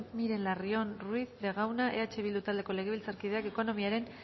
miren larrion ruiz de gauna eh bildu taldeko legebiltzarkideak ekonomiaren